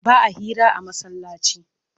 Ba a hira a masallaci